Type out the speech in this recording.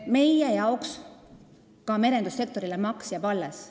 Meie jaoks jääb ka merendussektorile maks alles.